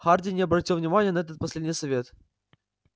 хардин не обратил внимания на этот последний совет